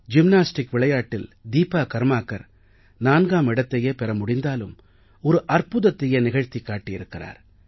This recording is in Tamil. ஜிம்னாஸ்டிக் விளையாட்டில் தீபா கர்மாகர் 4ஆம் இடத்தையே பெற முடிந்தாலும் ஒரு அற்புதத்தையே நிகழ்த்திக் காட்டியிருக்கிறார்